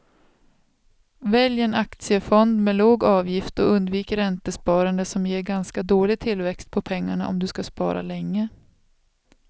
Välj en aktiefond med låg avgift och undvik räntesparande som ger ganska dålig tillväxt på pengarna om du ska spara länge.